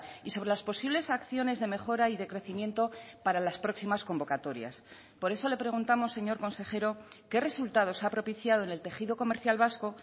y sobre las posibles acciones de mejora y de crecimiento para las próximas convocatorias por eso le preguntamos señor consejero qué resultados ha propiciado en el tejido comercial vasco